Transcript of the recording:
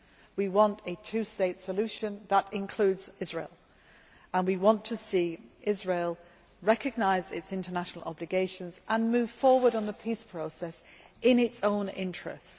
We want a two state solution that includes Israel, and we want to see Israel recognise its international obligations and move forward on the peace process in its own interest.